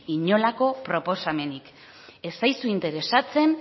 inolako proposamenik ez zaizu interesatzen